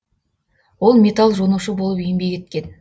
ол металл жонушы болып еңбек еткен